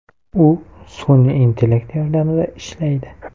U sun’iy intellekt yordamida ishlaydi.